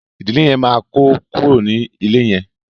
ìdílé yén má kò kúrò ní ilè yén.